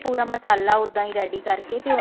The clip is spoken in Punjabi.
ਪੂਰਾ ਮਸਾਲਾ ਉੱਦਾਂ ready ਕਰਕੇ ਤੇ ਉਹਨੂੰ